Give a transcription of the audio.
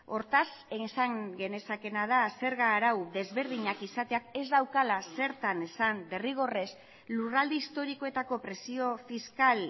hortaz esan genezakeena da zerga arau desberdinak izateak ez daukala zertan esan derrigorrez lurralde historikoetako presio fiskal